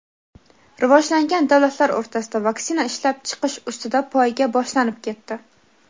rivojlangan davlatlar o‘rtasida vaksina ishlab chiqish ustida poyga boshlanib ketdi.